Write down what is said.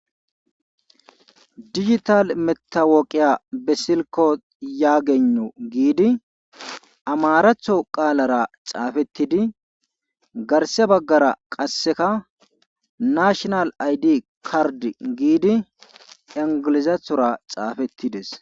digital metawoqiya be silko yaageno giidi amaratho qaalara xaafettidi garse baggara qasseka nashonal aydi kardi giidi ingilizathora xaafettides